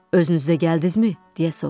Özünüz də gəldinizmi, deyə soruşdum.